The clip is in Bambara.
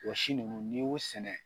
Wɔ si ninnu n'i y'o sɛnɛ